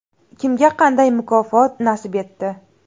Kimga qanday mukofot nasib etdi?.